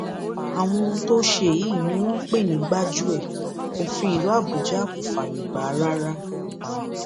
àwọn ohun tó o ṣe yìí ni wọn ń pè ní gbájúẹ òfin ìlú àbújá kò fààyè gbà rárá